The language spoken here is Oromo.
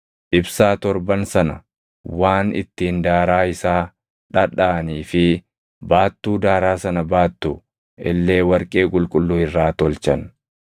Ibsaa torban sana, waan ittiin daaraa isaa dhadhaʼanii fi baattuu daaraa sana baattu illee warqee qulqulluu irraa tolchan.